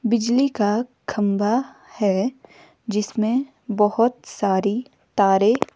बिजली का खंभा है जिसमें बहुत सारी तारे--